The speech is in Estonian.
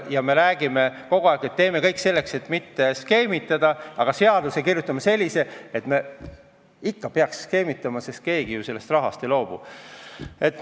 Ja me räägime kogu aeg, et me teeme kõik selleks, et mitte skeemitada, aga seaduse kirjutame sellise, et ikka peaks skeemitama, sest keegi ju sellest rahast ei loobu.